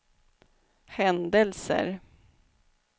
händelser